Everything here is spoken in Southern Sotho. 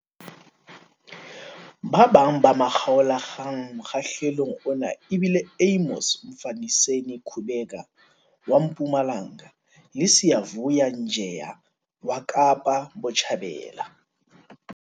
Ba bang ba makgaolakgang mokgahlelong ona e bile Amos Mfaniseni Kubheka wa Mpumalanga le Siyavuya Njeya wa Kaapa Botjhabela.